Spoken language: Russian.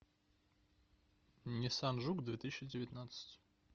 ниссан жук две тысячи девятнадцать